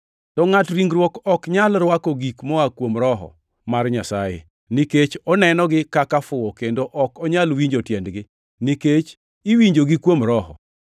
To ngʼat ringruok ok nyal rwako gik moa kuom Roho mar Nyasaye, nikech onenogi kaka fuwo kendo ok onyal winjo tiendgi, nikech iwinjogi kuom Roho.